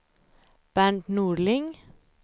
Bernt Norling